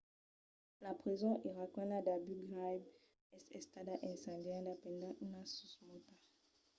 la preson iraquiana d’abu ghraib es estada incendiada pendent una susmauta